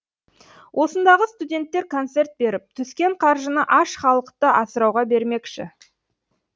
осындағы студенттер концерт беріп түскен қаржыны аш халықты асырауға бермекші